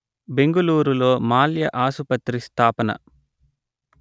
బెంగళూరు లో మాల్య ఆసుపత్రి స్థాపన